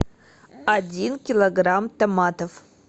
один килограмм томатов